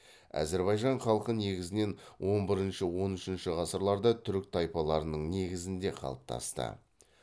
әзірбайжан халқы негізінен он бірінші он үшінші ғасырларда түрік тайпаларының негізінде қалыптасты